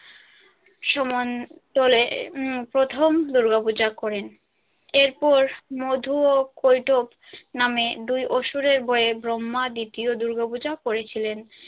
প্রথম দূর্গাপূজা করেন এরপর মধু ও কৈতব নামে দুই অসুরের বরে ব্রহ্মা দ্বিতীয় দূর্গাপূজা করেছিলেন।